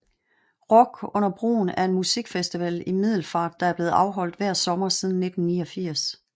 Rock under broen er en musikfestival i Middelfart der er blevet afholdt hver sommer siden 1989